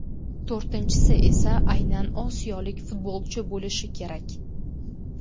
To‘rtinchisi esa aynan osiyolik futbolchi bo‘lishi kerak.